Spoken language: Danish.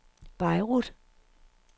Beirut